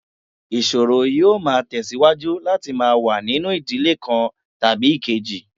Ìṣòro yóò máa tẹ̀síwájú láti máa wà nínú ìdílé kan tàbí èkejì